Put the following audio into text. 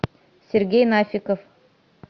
сергей нафиков